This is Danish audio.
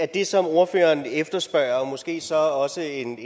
det som ordføreren efterspørger måske så også en